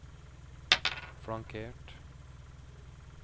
flankert